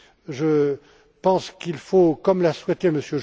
Je pense qu'il faut comme l'a souhaité